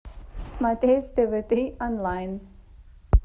смотреть тв три онлайн